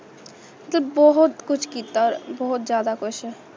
ਧੁਪ ਬਹੁਤ ਖੁਸ਼ ਕੀਤਾ ਬਹੁਤ ਜਾਂਦਾ ਕੁਸ਼